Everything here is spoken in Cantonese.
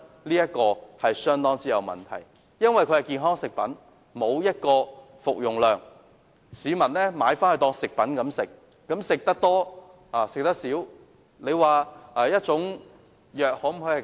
由於產品宣稱是健康食品，沒有訂明服用劑量，市民購買當作食品服用，吃多吃少，悉隨尊便。